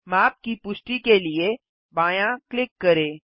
माप की पुष्टि के लिए बायाँ क्लिक करें